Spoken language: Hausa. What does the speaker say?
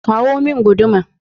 kawo min guduma!